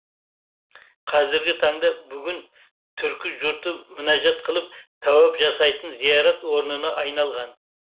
қазіргі таңда бүгін түркі жұрты мінәжат қылып тәуәп жасайтын зиярат орнына айналған